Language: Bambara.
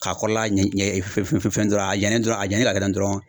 K'a kɔrɔla ɲɛ ɲɛ fɛn fɛn dɔrɔn a janyalen dɔrɔn a janyalen ka kɛ tan dɔrɔn